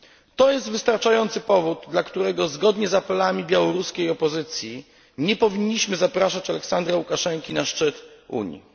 To jest wystarczający powód, dla którego zgodnie z apelami białoruskiej opozycji nie powinniśmy zapraszać Aleksandra Łukaszenki na szczyt Unii.